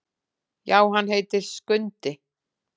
Já, hann heitir Skundi.